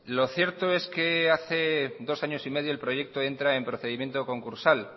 lo cierto es que hace dos años y medio el proyecto entra en procedimiento concursal